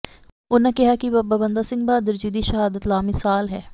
ਉਨ੍ਹਾਂ ਕਿਹਾ ਕਿ ਬਾਬਾ ਬੰਦਾ ਸਿੰਘ ਬਹਾਦਰ ਜੀ ਦੀ ਸ਼ਹਾਦਤ ਲਾਮਿਸਾਲ ਹੈ